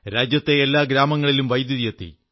രാജ്യത്തെ എല്ലാ ഗ്രാമങ്ങളിലും വൈദ്യുതി എത്തി